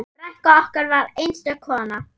Frænka okkar var einstök kona.